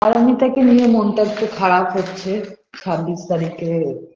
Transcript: পারমিতাকে নিয়ে মনটা একটু খারাপ হচ্ছে ছাব্বিশ তারিখে